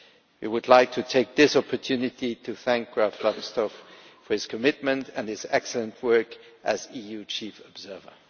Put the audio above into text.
I would like to take this opportunity to thank Graf Lambsdorff for his commitment and his excellent work as EU chief observer.